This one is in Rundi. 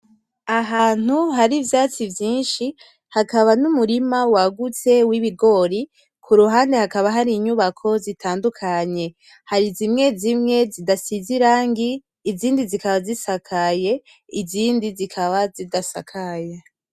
Ahantu hari ivyatsi vyinshi hakaba n'umurima wagutse w'ibigori, kuruhande hakaba hari inyubako zitandukanye. Hari zimwe zimwe zidasize irangi, izindi zikaba zisakaye, izindi zikaba zidasakaye.